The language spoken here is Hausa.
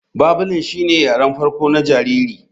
Babling shine yaren farko na jariri.